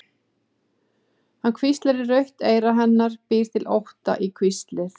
Hann hvíslar í rautt eyra hennar, býr til ótta í hvíslið.